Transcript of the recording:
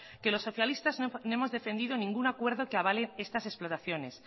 que los socialistas no hemos defendido ningún acuerdo que avale estas explotaciones